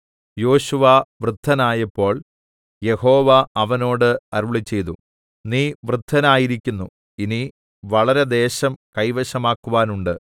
യോശുവ വൃദ്ധനായപ്പോൾ യഹോവ അവനോട് അരുളിച്ചെയ്തു നീ വൃദ്ധനായിരിക്കുന്നു ഇനി വളരെ ദേശം കൈവശമാക്കുവാനുണ്ട്